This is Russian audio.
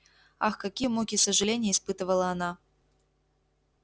ах какие муки сожалений испытывала она